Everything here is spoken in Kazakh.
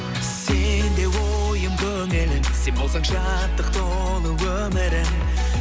сенде ойым көңілім сен болсаң шаттық толы өмірім